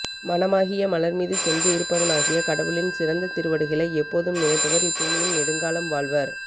மனமாகிய மலர்மீது சென்று இருப்பவனாகிய கடவுளின் சிறந்த திருவடிகளை எப்போதும் நினைப்பவர் இப்பூமியில் நெடுங்காலம் வாழ்வர்